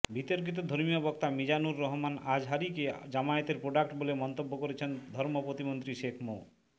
বিতর্কিত ধর্মীয় বক্তা মিজানুর রহমান আজহারীকে জামায়াতের প্রোডাক্ট বলে মন্তব্য করেছেন ধর্ম প্রতিমন্ত্রী শেখ মো